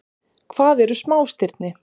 Hvað eru smástirni?